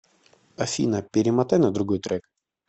афина перемотай на другой трек